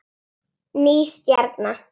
Ný stjarna